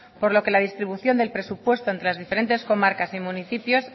por lo que la distribución del presupuesto entre las diferentes comarcas y municipios